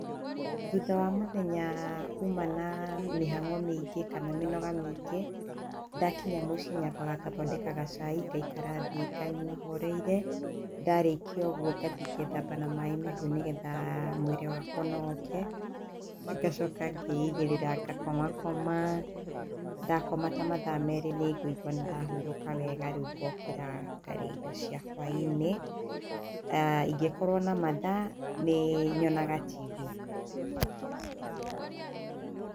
Thutha wa mũthenya, uma na, mĩhang'o mĩingĩ kana mĩnoga mĩingĩ, ndakinya mũcĩĩ, nyambaga ngathondeka gacai, ngaikara thĩ nganyua horeire. Ndarĩkia ũguo ngathi ngethamba na maaĩ mahiũ nĩgetha mwĩrĩ wakwa ũnogoke. Ngacoka ngeigĩrĩra ngakoma koma. Ndakoma ta mathaa merĩ nĩ ngũigwa nĩ ndahurũka wega, rĩu ngookĩra ngarĩa irio cia hwaĩ-inĩ. Ingĩkorwo na mathaa, nĩ nyonaga TV .